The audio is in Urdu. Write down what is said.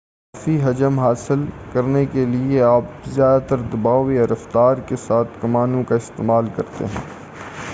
باجے پر اضافی حجم حاصل کرنے کے لئے آپ زیادہ دباؤ یا رفتار کے ساتھ کمانوں کا استعمال کرتے ہیں